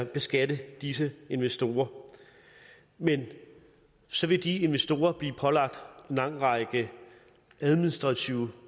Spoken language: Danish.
beskatte disse investorer men så vil de investorer blive pålagt en lang række administrative